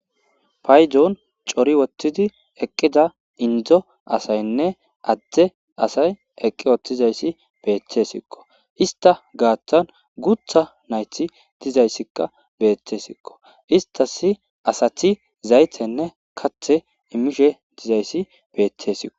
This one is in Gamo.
Faydon cori wottidi eqqida indzo asaynne adde asay eqqi wottizayssi beetesikko ista gaattan gutha nayti dizayssikka beethtesikko istas asati zaytenne kathe imishe dizayssi beettesiqo